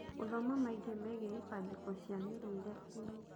Gũthoma maingĩ megiĩ ibandĩko cia mĩrĩĩre inĩ